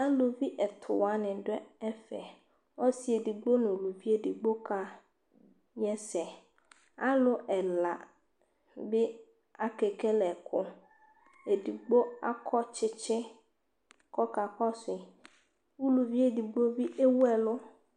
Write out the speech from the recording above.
aluvi ɛtu wani du ɛfɛ ɔsi edigbo nu luvi edigbo kä yɛsɛ alu ɛla bi akekele ɛku edigbo akɔ tchitchi kɔ ka kɔsui uluvi edigbo bi eweɛlu